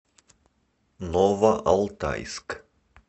новоалтайск